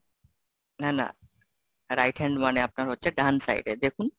না, না, right hand মানে আপনার হচ্ছে ডান side এ, দেখুন?